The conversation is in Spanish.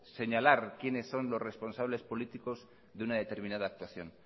señalar quiénes son los responsables políticos de una determinada actuación